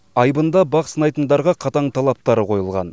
айбында бақ сынайтындарға қатаң талаптар қойылған